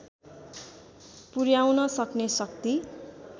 पुर्‍याउन सक्ने शक्ति